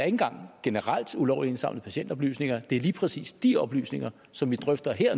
engang generelt ulovligt indsamlede patientoplysninger det er lige præcis de oplysninger som vi drøfter